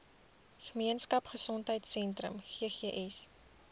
gemeenskap gesondheidsentrum ggs